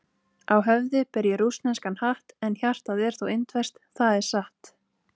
Á höfði ber ég rússneskan hatt, en hjartað er þó indverskt, það er satt.